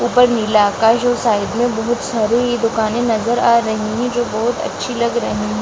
ऊपर नीला अकाश और साइड में बहोत सारी दुकानें नज़र आ रही है जो बहोत अच्छी लग रही --